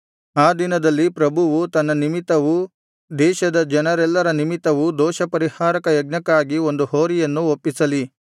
ಆ ದಿನದಲ್ಲಿ ಪ್ರಭುವು ತನ್ನ ನಿಮಿತ್ತವೂ ದೇಶದ ಜನರೆಲ್ಲರ ನಿಮಿತ್ತವೂ ದೋಷಪರಿಹಾರಕ ಯಜ್ಞಕ್ಕಾಗಿ ಒಂದು ಹೋರಿಯನ್ನು ಒಪ್ಪಿಸಲಿ